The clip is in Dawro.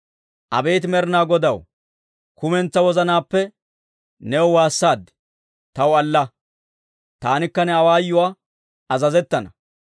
Abeet Med'inaa Godaw, kumentsaa wozanaappe, new waassaad; taw alla. Taanikka ne awaayuwaa azazettana.